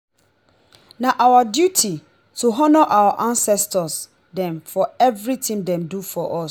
na our duty to honour our ancestor dem for everytin dem do for us.